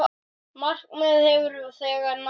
Það markmið hefur þegar náðst.